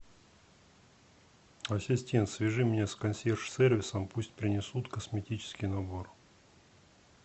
ассистент свяжи меня с консьерж сервисом пусть принесут косметический набор